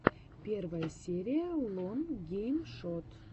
первая серия лон гейм шот